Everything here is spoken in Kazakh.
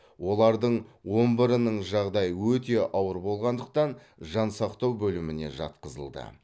олардың он бірінің жағдайы өте ауыр болғандықтан жансақтау бөліміне жатқызылды